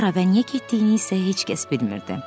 Hara və niyə getdiyini isə heç kəs bilmirdi.